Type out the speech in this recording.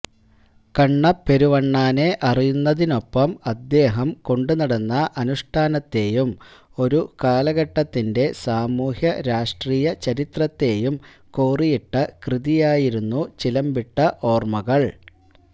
കണ്ണപ്പെരുവണ്ണാനെ അറിയുന്നതിനൊപ്പം അദ്ദേഹം കൊണ്ടുനടന്ന അനുഷ്ഠാനത്തെയും ഒരു കാലഘട്ടത്തിന്റെ സാമൂഹ്യരാഷ്ട്രീയ ചരിത്രത്തെയും കോറിയിട്ട കൃതിയായിരുന്നു ചിലമ്പിട്ട ഓര്മ്മകള്